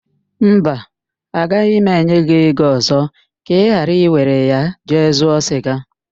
Mba, agaghị m enye gị ego ọzọ ka ị ghara iwere ya jee zụọ siga